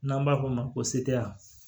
N'an b'a f'o ma ko seteya